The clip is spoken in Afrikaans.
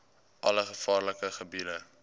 alle gevaarlike gebiede